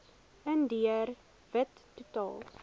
indiër wit totaal